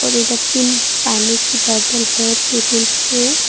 इधर तीन पानी की बॉटल है टेबल पे।